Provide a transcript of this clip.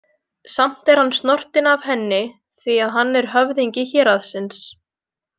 Samt er hann snortinn af henni því að hann er höfðingi héraðsins.